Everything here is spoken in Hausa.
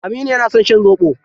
Aminu yana son shan zoɓo.